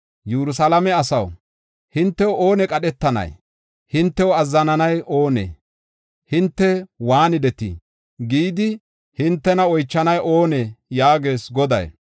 “Yerusalaame asaw, hintew oone qadhetanay? Hintew azzananay oonee? Hinte waanidetii? gidi hintena oychanay oonee?” yaagees Goday.